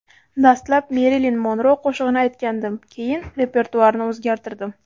Dastlab Merilin Monro qo‘shig‘ini aytgandim, keyin repertuarni o‘zgartirdim.